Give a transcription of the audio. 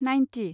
ninety